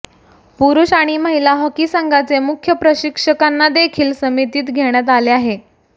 पुरुष आणि महिला हॉकी संघाचे मुख्य प्रशिक्षकांनादेखील समितीत घेण्यात आले आहे